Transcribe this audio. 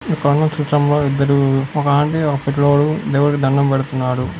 ఇక్కడున్న చిత్రంలో ఇద్దరూ ఒక ఆంటీ ఒక పిల్లోడు దేవుడికి దండం పెడుతున్నారు.